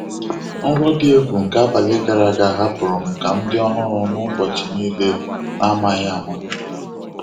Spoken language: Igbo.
Nrọ dị egwu nke abalị gara aga hapụrụ m ka m dị ọhụrụ n'ụbọchị niile n'amaghị ama.